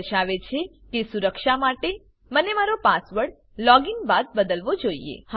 આ દર્શાવે છે કે સુરક્ષા માટે મને મારો પાસવર્ડ લોગીન બાદ બદલવો જોઈએ